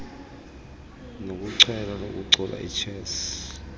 nokuchwela ukucula ichess